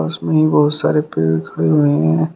उसमें ही बहुत सारे पेड़ खड़े हुए हैं।